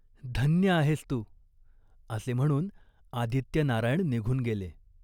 धन्य आहेस तू !" असे म्हणून आदित्यनारायण निघून गेले.